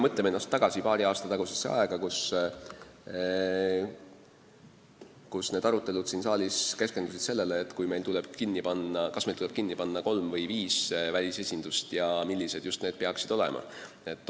Mõtleme end tagasi paari aasta tagusesse aega, kui need arutelud siin saalis keskendusid sellele, kas meil tuleb kinni panna kolm või viis välisesindust ja millised need peaksid olema!